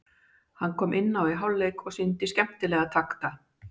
Hann kom inná í hálfleik og sýndi skemmtilega takta.